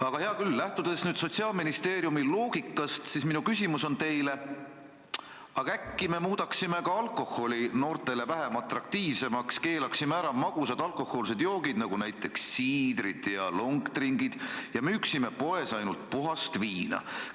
Aga hea küll, lähtudes nüüd Sotsiaalministeeriumi loogikast, siis minu küsimus on teile: aga äkki me muudaksime ka alkoholi noortele vähem atraktiivseks, keelaksime ära magusad alkohoolsed joogid, näiteks siidrid ja long drink'id ja müüksime poes ainult puhast viina?